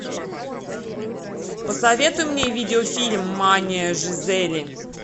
посоветуй мне видеофильм мания жизели